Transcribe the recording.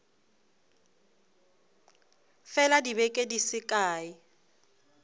fela dibeke di se kae